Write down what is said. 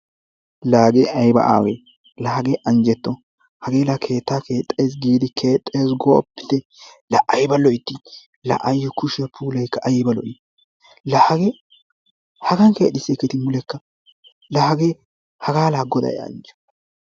Laa hagee ayba awee la hagee anjjetto hagee la keettaa keexxayssi giidi kexxees gooppitte la ayba loytti la ayoo kushiya puulaykka ayba lo'ii laa hagee hagan kexxiserketti mulekka laa hagee hagaa la gaday anjjo.